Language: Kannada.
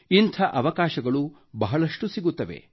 ಇಂಥ ಅವಕಾಶಗಳು ಬಹಳಷ್ಟು ಸಿಗುತ್ತವೆ